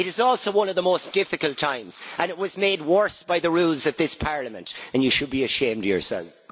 It is also one of the most difficult times, and it was made worse by the rules of this Parliament, and you should be ashamed of yourselves.